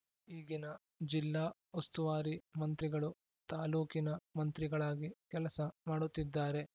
ಈಗಿನ ಜಿಲ್ಲಾ ಉಸ್ತುವಾರಿ ಮಂತ್ರಿಗಳು ತಾಲ್ಲೂಕಿನ ಮಂತ್ರಿಗಳಾಗಿ ಕೆಲಸ ಮಾಡುತ್ತಿದ್ದಾರೆ